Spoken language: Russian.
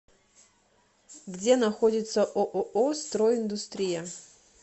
где находится ооо строй индустрия